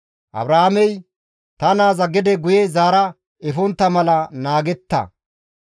Abrahaamey, «Ta naaza gede guye zaara efontta mala naagetta!